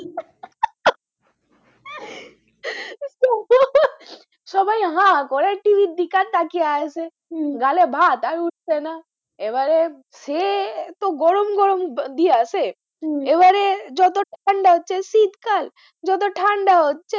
হা করে টিভি দিকে তাকিয়ে আছে গালে ভাত আর উঠছে না এবারে সে তো গরম, গরম দিয়েছে হম এবারে যত ঠান্ডা হচ্ছে শীতকাল যতো ঠান্ডা হচ্ছে,